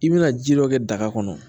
I bɛna ji dɔ kɛ daga kɔnɔ